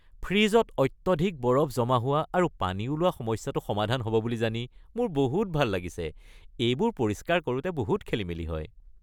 ফ্ৰিজত অত্যধিক বৰফ জমা হোৱা আৰু পানী ওলোৱা সমস্যাটো সমাধান হ’ব বুলি জানি মোৰ বহুত ভাল লাগিছে, এইবোৰ পৰিষ্কাৰ কৰোঁতে বহুত খেলিমেলি হয়।